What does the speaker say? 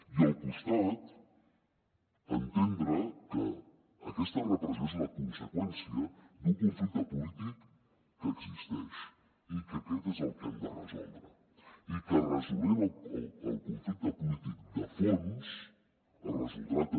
i al costat entendre que aquesta repressió és la conseqüència d’un conflicte polític que existeix i que aquest és el que hem de resoldre i que resolent el conflicte polític de fons es resoldrà també